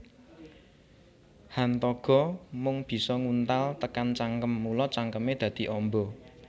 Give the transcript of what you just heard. Hantaga mung bisa nguntal tekan cangkem mula cangkeme dadi amba